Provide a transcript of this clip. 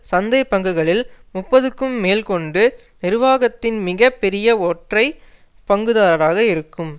சந்தை பங்குகளில் முப்பதுக்கும் மேல் கொண்டு நிர்வாகத்தின் மிக பெரிய ஒற்றை பங்குதாரராக இருக்கும்